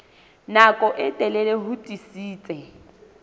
nako e telele ho tiisitse